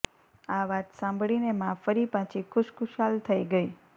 આ વાત સાંભળીને મા ફરી પાછી ખુશખુશાલ થઈ ગઈ